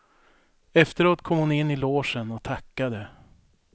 Efteråt kom hon in i logen och tackade.